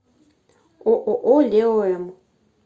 ооо лео м